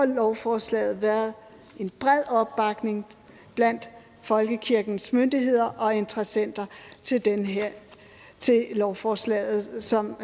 lovforslaget været en bred opbakning blandt folkekirkens myndigheder og interessenter til lovforslaget som